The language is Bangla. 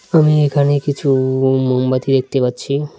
আমি এখানে কিছু মোমবাতি দেখতে পাচ্ছি।